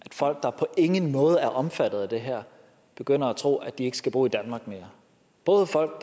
at folk der på ingen måde er omfattet af det her begynder at tro at de ikke skal bo i danmark mere både folk